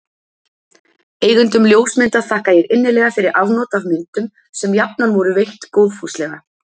Eigendum ljósmynda þakka ég innilega fyrir afnot af myndum, sem jafnan voru veitt góðfúslega.